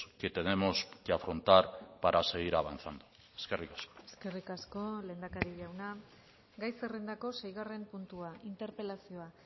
retos que tenemos que afrontar para seguir eskerrik asko eskerrik asko lehendakari jauna gai zerrendako seigarren puntua interpelazioa